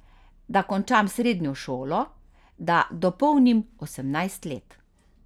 Da končam srednjo šolo, da dopolnim osemnajst let.